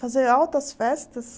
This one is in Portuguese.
Fazer altas festas.